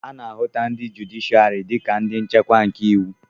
a na-ahụta ndi jụdịshịarị dị ka ndị nchekwa nke iwu